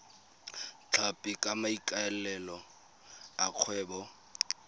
tlhapi ka maikaelelo a kgwebo